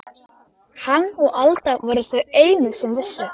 Hann og Alda voru þau einu sem vissu.